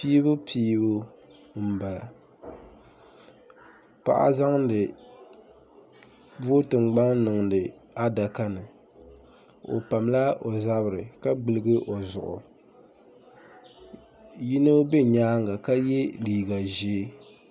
piibupiibu m-bala paɣa zaŋdi vootin gbaŋ n-niŋdi adaka ni o pamila o zabiri ka gbuligi o zuɣu yino be nyaaŋa ka ye liiga ʒee